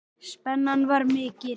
Spennan var mikil.